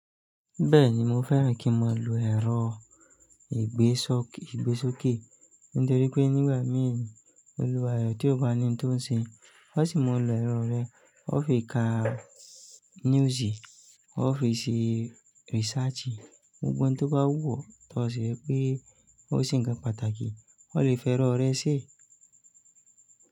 Bẹ́ẹ̀ni mo fẹ́ràn kí mo lo ẹ̀rọ ìgbésókè nítorí pé nígbà mìí olùwàre tí ó bá ní ohun tó ń ṣe, ó sì maa lo ẹ̀rọ rẹ, ó fi ka news, ó fi ṣe research, gbogbo ohun tó bá wù ọ́ tí ó ṣe pé ó ṣe ń kan pàtàkì, ó lè fẹ́rọ rẹ́ ṣé?